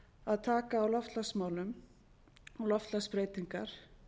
að taka á loftslagsmálum og loftslagsbreytingar